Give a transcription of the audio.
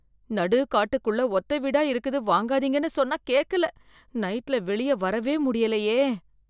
நடுக்காட்டுக்குள்ள ஒத்த வீடா இருக்குது வாங்காதீங்கன்னு சொன்னா கேக்கல, நைட்ல வெளிய வரவே முடியலயே.